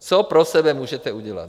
Co pro sebe můžete udělat?